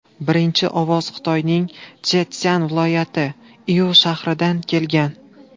Birinchi ovoz Xitoyning Chjetszyan viloyati, Iu shahridan kelgan.